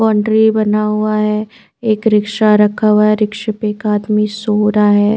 Boundary बना हुआ हैं एक रिक्शा रखा हुआ हैं रिक्शे पे आदमी सो रहा हैं ।